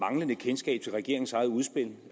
manglende kendskab til regeringens eget udspil